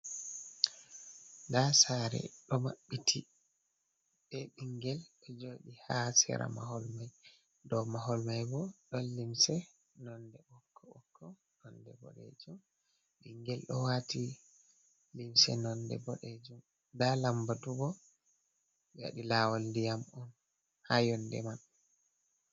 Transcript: Nda sare ɗo mabbiti be ɓingel ɗo joɗi ha sera mahol mai dow mahol mai bo ɗon limse nonde ɓokko ɓokko nonde boɗejum ɓingel ɗo wati limse nonde boɗejum nda lambatu bo be waɗi lawol ndiyam on ha yonde man.